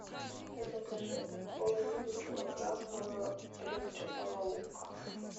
закажи половину килограмма репчатого лука